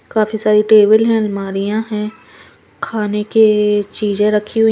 काफी सारी टेबल हैं अलमारियां हैं खाने के चीजें रखी हुई--